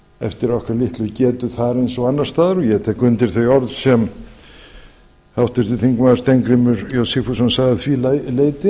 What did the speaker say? eftir okkar litlu getu þar eins og annars staðar ég tek undir þau orð sem háttvirtur þingmaður steingrímur j sigfússon sagði að því leyti